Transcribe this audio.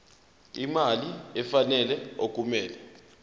imali efanele okumele